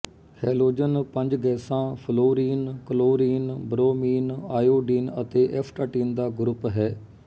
halogen ਪੰਜ ਗੈਸਾਂ fluorine chlorine bromine iodine ਤੇ ਐਸਟਾਟੀਨ ਦਾ ਗਰੁੱਪ ਹੈ